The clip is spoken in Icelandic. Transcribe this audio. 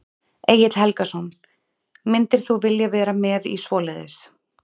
Egill Helgason: Myndir þú vilja vera með í svoleiðis?